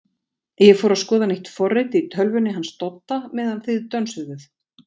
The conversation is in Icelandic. ég fór að skoða nýtt forrit í tölvunni hans Dodda meðan þið dönsuðuð.